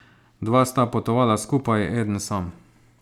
Dva sta potovala skupaj, eden sam.